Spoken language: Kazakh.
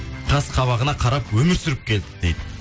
қасқабағына қарап өмір сүріп келдік дейді